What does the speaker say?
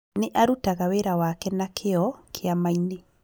Nĩ arutaga wĩra wake na kĩĩo kĩama-inĩ